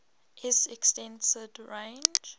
s extended range